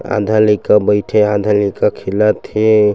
आधा लइका बइठे आधा लइका खेलत हे।